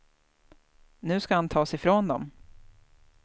Nu ska han tas ifrån dem.